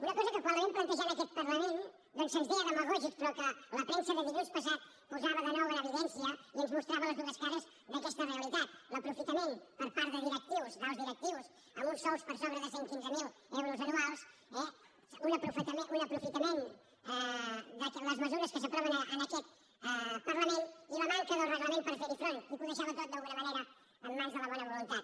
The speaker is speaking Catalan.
una cosa que quan la vam plantejar en aquest parlament doncs se’ns deia demagògics però que la premsa de dilluns passat posava de nou en evidència i ens mostrava les dues cares d’aquesta realitat l’aprofitament per part de directius d’alts directius amb uns sous per sobre de cent i quinze mil euros anuals eh un aprofitament de les mesures que s’aproven en aquest parlament i la manca del reglament per fer hi front i que ho deixava tot d’alguna manera en mans de la bona voluntat